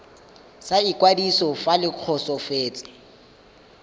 sa ikwadiso fa le kgotsofetse